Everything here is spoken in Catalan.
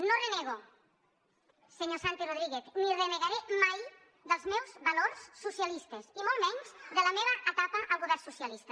no renego senyor santi rodríguez ni renegaré mai dels meus valors socialistes i molt menys de la meva etapa al govern socialista